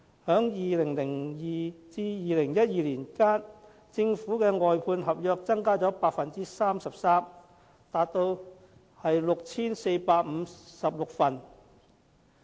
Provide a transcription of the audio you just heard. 在2002年至2012年間，政府的外判合約增加了 33%， 達到 6,456 份。